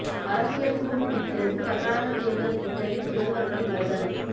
அரசியல் சூடு பிடிக்கிறது கர்நாடக தேர்தல் டுவிட்டரில் முதல்வர்கள் மோதல்